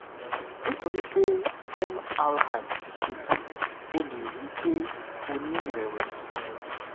nítorí pé mri ti ṣe tán o lè rí i pé o ní ìrẹwẹsì